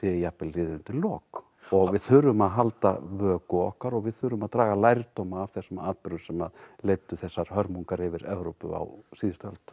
jafnvel liðið undir lok og við þurfum að halda vöku okkar og við þurfum að draga lærdóm af þessum atburðum sem leiddu þessar hörmungar yfir Evrópu á síðustu öld